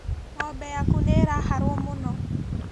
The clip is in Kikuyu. Ng'ombe yaku nĩĩraharwo mũno